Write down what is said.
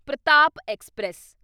Pratap express